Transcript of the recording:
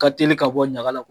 Ka teli ka bɔ ɲaga la